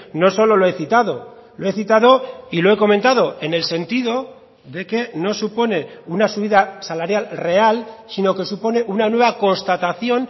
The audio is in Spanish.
no solo lo he citado lo he citado y lo he comentado en el sentido de que no supone una subida salarial real sino que supone una nueva constatación